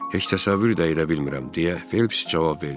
Heç təsəvvür də edə bilmirəm, deyə Felps cavab verdi.